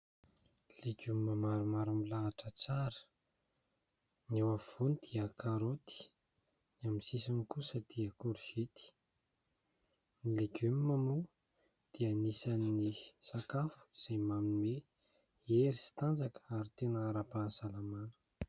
Legioma maromaro milahatra tsara, ny eo afovoany dia karôty, ny amin'ny sisiny kosa dia korizety ; ny legioma moa dia anisany sakafo izay manome hery sy tanjaka ary tena ara-pahasalamana.